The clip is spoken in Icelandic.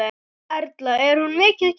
Erla: Er hún mikið keypt?